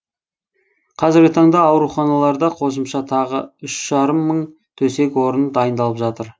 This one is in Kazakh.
қазіргі таңда ауруханаларда қосымша тағы үш жарым мың төсек орын дайындалып жатыр